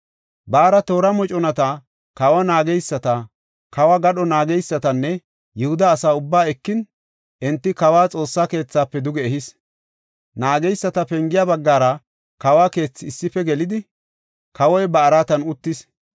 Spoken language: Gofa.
Baara toora moconata, kawa naageysata, kawo gadho naageysatanne Yihuda asa ubbaa ekin, enti kawa Xoossa keethafe duge ehis. Naageyisata Pengiya baggara kawo keethi issife gelidi, kawoy ba araatan uttis.